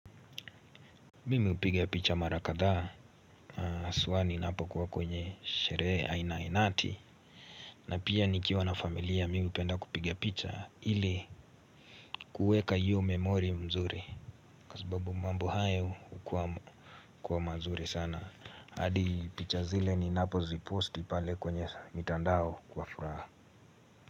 Mimi hupigia picha mara kadhaa haswa ninapo uwa kwenye sherehe aina inati. Na pia nikiwa na familia mimi hupenda kupigia picha. Ili kuweka hiyo memori mzuri. Kwa sababu mambo hayo hukuwa mazuri sana. Hadi picha zile ninapoziposti pale kwenye mitandao kwa furaha.